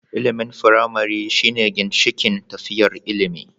Ilimin firamare shine ginshikin tafiyar ilimi.